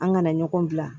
An kana ɲɔgɔn bila